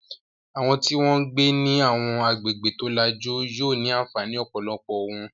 Àwọn tí wọ́n ń gbé ní àwọn agbègbè tó lajú yóò ní àǹfààní ọ̀pọ̀lọpọ̀ ohun